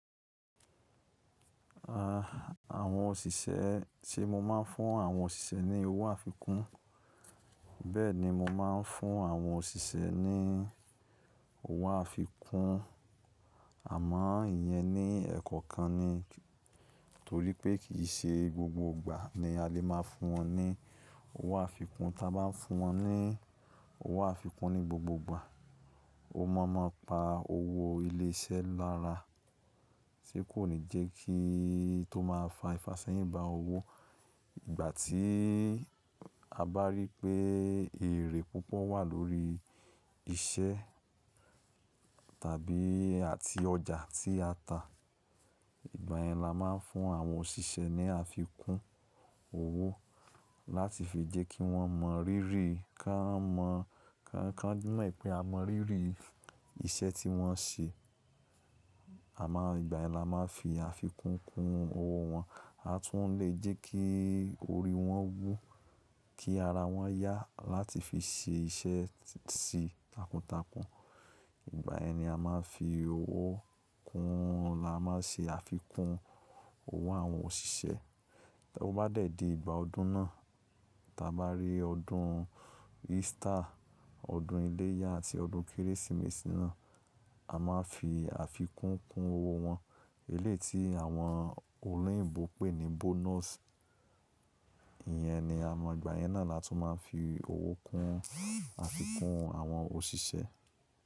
Àwọn òṣìṣẹ́, ṣe mo máa ń fún àwọn òṣìṣẹ́ ní owó àfikún? Bẹ́ẹ̀ni, mo máa ń fún àwọn òṣìṣẹ́ ní owó àfikún, àmọ́ ìyẹn ní ẹ̀kọ̀ kan ni, torí pé kì í ṣe gbogbo ìgbà ni a lè máa fún wọn ní owó àfikún. Tí a bá fún wọn ní owó àfikún ní gbogbo ìgbà, ó mọ̀ọ́mọ̀ pa owó ilé iṣẹ́ lára, tí kò ní jẹ́ kíi tó máa fa ìfàṣẹ́yìn ba owó. Ìgbà tí a bá rí pé èrè púpọ̀ wà lórí iṣẹ́ tàbí àti ọjà tí a ta, ìgbà yẹn la máa ń fún àwọn òṣìṣẹ́ ní àfikún owó láti fi jẹ́ kí wọ́n mọ rírì, ká mọ̀, ká mọ̀ wipé a mọ rírì iṣẹ́ tí wọ́n ṣe. Àmo, ìgbà yẹn la máa n fi àfikún kun owó wọn. A tún lè jẹ́ kí orí wọn wú, kí ara wọn yá láti fi ṣe iṣẹ́ sí takuntakun. Ìgbà yẹn ni a máa fi owó kún un, la máa ṣe àfikún owó àwọn òṣìṣẹ́. Tí ó bá dé dé ìgbà ọdún náà, tí a bá rí ọdún Easter, ọdún iléyá àti ọdún Kérésìmesì náà, a máa fi àfikún kun owó wọn. Eléyii tí àwọn olóyìnbo pé ni bonus. Ìyẹn ni a mọ̀, ìgbà yẹn náà la tún máa ń fi owó kún àfikún àwọn òṣìṣẹ́.